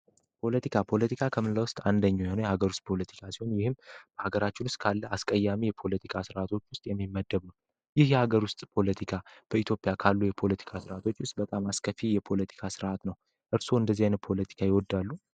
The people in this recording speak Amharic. ፖለቲካ ከምንለ ውስጥ አንደኙ የሆነ የሀገር ውስጥ ፖለቲካ ሲሆን ይህም በሀገራችል ውስጥ ካለ አስቀያሚ የፖለቲካ ሥርዓቶች ውስጥ የሚመደብ ነው። ይህ የሀገር ውስጥ ፖለቲካ በኢትዮጵያ ካሉ የፖለቲካ ስርዓቶች ውስጥ በጣም አስከፊ የፖለቲካ ስርዓት ነው። እርስዎ እንደዚህ ይን ፖለቲካ ይወዳሉ?